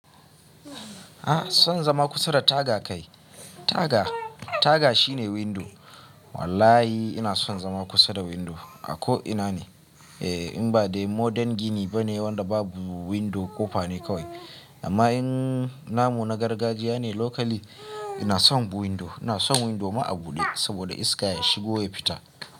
Ah son zama kusa da taga kai. Taga, taga shine window. Wallahi inason zama kusa da window a ko'ina ne. Eh in ba dai modern gini bane wanda babu window kofa ne kawai. Amma in namu na gargajiya ne locally, ina son window. Inason window ma'a buɗe saboda iska ya shigo ya fita.